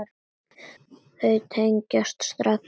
Þau tengja strax.